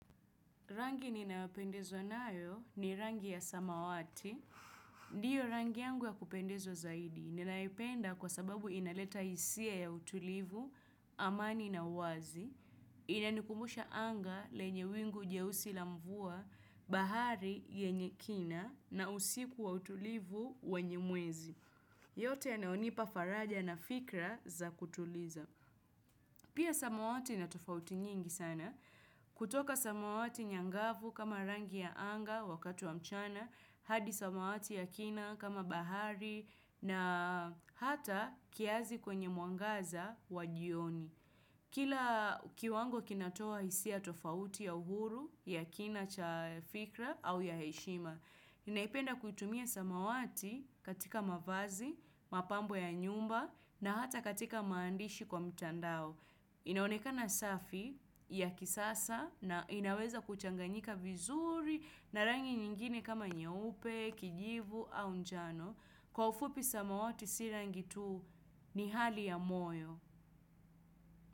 Rangi ninayopendezwa nayo ni rangi ya samawati. Ndiyo rangi yangu ya kupendezwa zaidi. Ninaipenda kwa sababu inaleta hisia ya utulivu, amani na uwazi. Inanikumbusha anga lenye wingu jeusi la mvua, bahari yenye kina, na usiku wa utulivu wenyemwezi. Yote yanayo nipa faraja na fikra za kutuliza. Pia samawati inatofauti nyingi sana. Kutoka samawati nyangavu kama rangi ya anga wakati wa mchana, hadi samawati ya kina kama bahari na hata kiasi kwenye mwangaza wajioni. Kila kiwango kinatoa hisia tofauti ya uhuru ya kina cha fikra au ya heshima. Ninaipenda kuitumia samawati katika mavazi, mapambo ya nyumba na hata katika maandishi kwa mtandao. Inaonekana safi ya kisasa na inaweza kuchanganyika vizuri na rangi nyingine kama nyeupe, kijivu au njano. Kwa ufupi samawati sirangitu ni hali ya moyo.